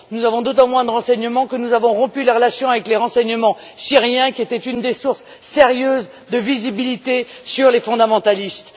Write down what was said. Nous avons d'autant moins de renseignements que nous avons rompu les relations avec les renseignements syriens, qui étaient une des sources sérieuses de visibilité sur les fondamentalistes.